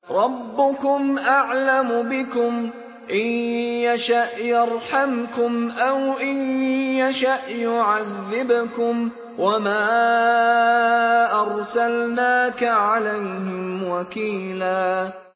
رَّبُّكُمْ أَعْلَمُ بِكُمْ ۖ إِن يَشَأْ يَرْحَمْكُمْ أَوْ إِن يَشَأْ يُعَذِّبْكُمْ ۚ وَمَا أَرْسَلْنَاكَ عَلَيْهِمْ وَكِيلًا